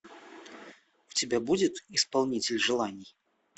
у тебя будет исполнитель желаний